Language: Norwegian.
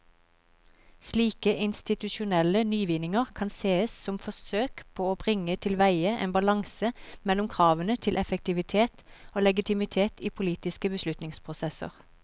Slike institusjonelle nyvinninger kan sees som forsøk på å bringe tilveie en balanse mellom kravene til effektivitet og legitimitet i politiske beslutningsprosesser.